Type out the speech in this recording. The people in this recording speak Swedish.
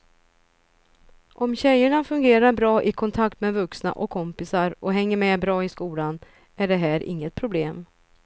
Om tjejerna fungerar bra i kontakt med vuxna och kompisar och hänger med bra i skolan är det här inget problem.